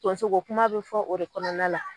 Tɔnso ko kuma bɛ fɔ o de kɔnɔna la.